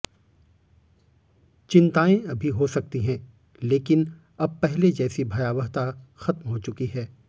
चिंताएं अभी हो सकती हैं लेकिन अब पहले जैसी भयावहता खत्म होचुकी है